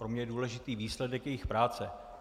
Pro mě je důležitý výsledek jejich práce.